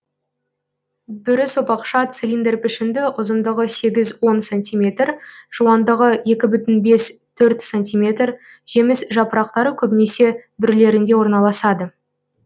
бүрі сопақша цилиндр пішінді ұзындығы сегіз он сантиметр жуандығы екі бүтін бес төрт сантиметр жеміс жапырақтары көбінесе бүрлерінде орналасады